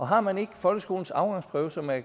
har man ikke folkeskolens afgangsprøve som er